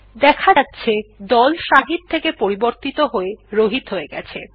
দেখা যাচ্ছে দল শাহিদ থেকে পরিবর্তন হয়ে রহিত হয়ে গেছে